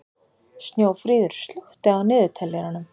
Snjófríður, slökktu á niðurteljaranum.